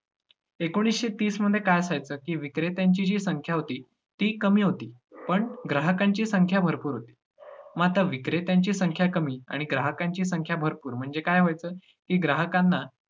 एकोणिसशे तीसमध्ये काय असायचं, की विक्रेत्यांची जी संख्या होती, ती कमी होती पण ग्राहकांची संख्या भरपूर होती. म आता विक्रेत्यांची संख्या कमी आणि ग्राहकांची संख्या भरपूर म्हणजे काय व्हायचं, की ग्राहकांना